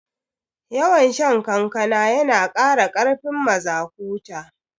Yawan shan kankana yana kara karfin mazaƙuta